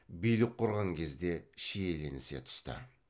билік құрған кезде шиеленісе түсті